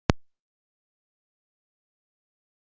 En hvað skyldi orkan kosta Ítalina?